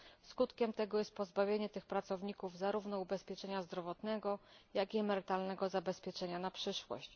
Skutkiem tego jest pozbawienie tych pracowników zarówno ubezpieczenia zdrowotnego, jak i emerytalnego zabezpieczenia na przyszłość.